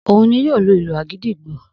Ohun ni yóò lu ìlù àgídìgbo